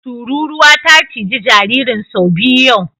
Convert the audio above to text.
Tururuwa ta ciji jaririn sau biyu yau.